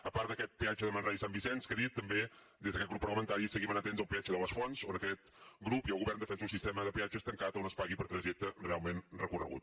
a part d’aquest peatge de manresa i sant vicenç que he dit també des d’aquest grup parlamentari seguim amatents al peatge de les fonts on aquest grup i el govern defensen un sistema de peatges tancat on es pagui per trajecte realment recorregut